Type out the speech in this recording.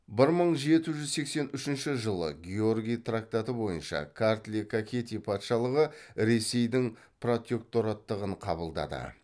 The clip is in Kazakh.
бір мың жеті жүз сексен үшінші жылы георгий трактаты бойынша картли кахети патшалығы ресейдің протектораттығын қабылдады